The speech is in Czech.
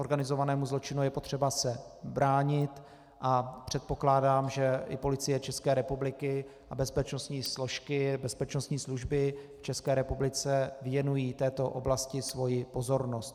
Organizovanému zločinu je potřeba se bránit a předpokládám, že i Policie České republiky a bezpečnostní složky, bezpečnostní služby v České republice věnují této oblasti svoji pozornost.